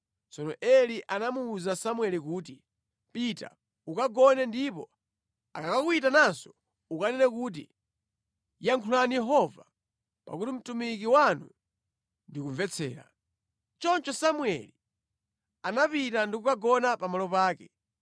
Tsono Eli anamuwuza Samueli kuti, “Pita ukagone ndipo akakuyitananso ukanene kuti, ‘Yankhulani Yehova, pakuti mtumiki wanu ndikumvetsera.’ ” Choncho Samueli anapita ndi kukagona pamalo pake.